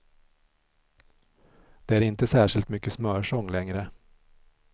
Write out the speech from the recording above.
Det är inte särskilt mycket smörsång längre.